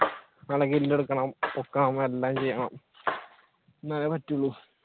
നല്ല kill എടുക്കണം, പൊക്കം എല്ലാം ചെയ്യണം എന്നാലേ പറ്റൂള്